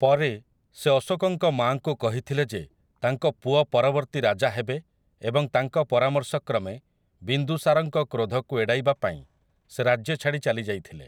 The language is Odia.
ପରେ, ସେ ଅଶୋକଙ୍କ ମାଆଙ୍କୁ କହିଥିଲେ ଯେ ତାଙ୍କ ପୁଅ ପରବର୍ତ୍ତୀ ରାଜା ହେବେ ଏବଂ ତାଙ୍କ ପରାମର୍ଶକ୍ରମେ ବିନ୍ଦୁସାରଙ୍କ କ୍ରୋଧକୁ ଏଡ଼ାଇବା ପାଇଁ ସେ ରାଜ୍ୟ ଛାଡ଼ି ଚାଲି ଯାଇଥିଲେ ।